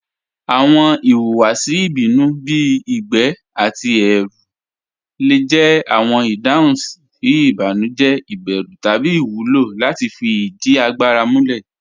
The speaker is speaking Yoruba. Awọn ìhùwàsì ìbínú bí igbẹ̀ àti ẹrù le jẹ awọn ìdáhùn sí ìbànújẹ̀, ìbérù, tabí iwúlọ láti fí ìdí àgbàrà múlẹ̀.